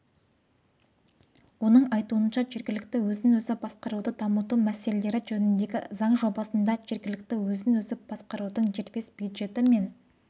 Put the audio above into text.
оның айтуынша жергілікті өзін-өзі басқаруды дамыту мәселелері жөніндегі заң жобасында жергілікті өзін-өзі басқарудың дербес бюджеті мен